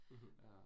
Mh